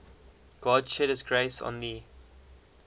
god shed his grace on thee